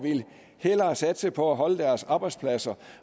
hellere ville satse på at beholde deres arbejdspladser